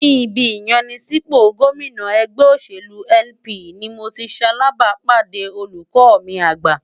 Ní ibi ìyanisípò gómìnà ẹgbẹ́ òṣèlú LP ni mo ti ṣalàbàápàdé olùkọ́ mi àgbà.